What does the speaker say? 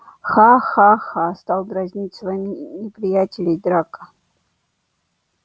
ха-ха-ха стал дразнить своих неприятелей драко